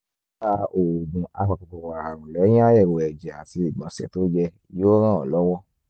ó dáa oògùn apakòkòrò ààrùn lẹ́yìn àyẹ̀wò ẹ̀jẹ̀ àti ìgbọ̀nsẹ̀ tó yẹ yóò ràn ọ́ lọ́wọ́